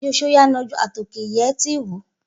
Igi so so o ya a gnonenju, a to ke iye e ti hoi.